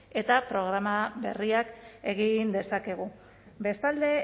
eta programa berriak egin dezakegu bestalde